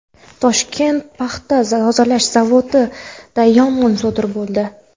"Toshkent paxta tozalash zavodi"da yong‘in sodir bo‘ldi.